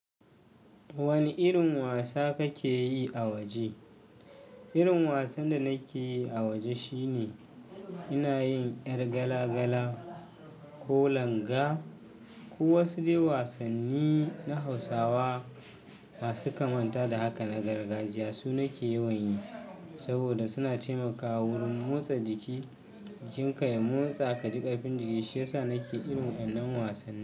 Wane irin wasa kake yi a waje? Irin wasan da nake yi a waje shine ina yin ƴar gala gala ko langa ko wasu dai wasanni na Hausawa masu kamanta da haka na gargajiya su nake yawan yi. Saboda suna taimakawa wurin motsa jiki jinka ya motsa ka ji ƙarfin jiki, shi yasa nake irin waƴannan wasanni.